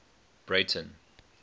breyten